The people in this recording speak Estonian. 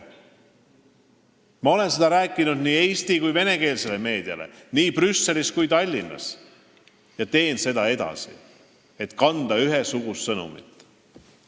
Ma olen seda rääkinud nii eesti- kui ka venekeelsele meediale, nii Brüsselis kui ka Tallinnas, ja teen seda edasi, et anda edasi ühesugust sõnumit.